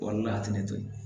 O de la a tɛ ne to yen